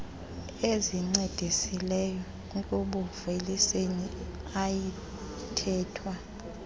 ezincedisileyo ekubuuveliseni ayithethwa